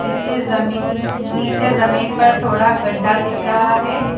नीचे जमीन नी नीचे जमीन पर थोड़ा गढ्ढा दिख रहा है।